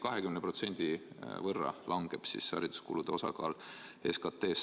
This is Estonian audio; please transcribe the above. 20% võrra langeb hariduskulude osakaal SKP-st.